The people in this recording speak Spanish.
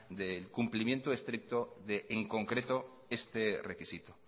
de cumplimiento estricto de en concreto este requisito